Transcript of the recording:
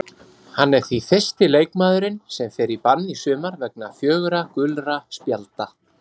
Hann er því fyrsti leikmaðurinn sem fer í bann í sumar vegna fjögurra gulra spjalda.